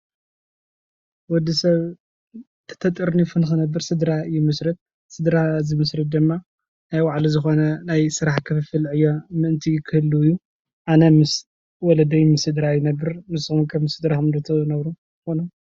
ወዲ ሰብ ተጠርኒፉ ንክነብር ስድራ ይምስርት፡፡ ስድራ ዝምስርት ድማ ናይ ባዕሉ ዝኾነ ምእንቲ ስራሕ ክፍፍል ዕዮ ምእንቲ ክህሉ እዩ፡፡ ኣነ ምስ ወለደይን ስድራይን ይነብር፡፡ ንስኹም ከ ምስ ስድራኩም ዶ ትነብሩ ትኾኑ?